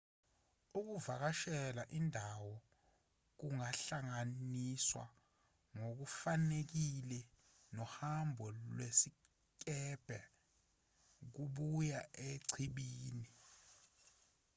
ukuvakashela indawo kungahlanganiswa ngokufanelekile nohambo lwesikebhe lokuya echibini